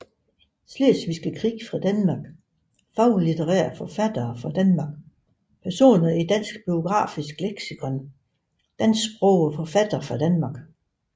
Slesvigske Krig fra Danmark Faglitterære forfattere fra Danmark Personer i Dansk Biografisk Leksikon Dansksprogede forfattere fra Danmark